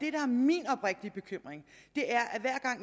er min oprigtige bekymring